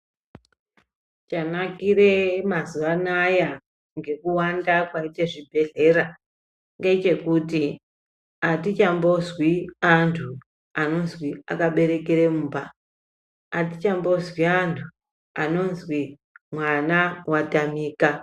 Chanakire mazuva anaya nekuwanda kwaite zvibhedhlera ngechekuti atichambozwi antu anozwi akaberekere mumba, atichambozwi antu, anozwi mwana watamika.